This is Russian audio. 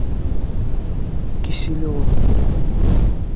киселева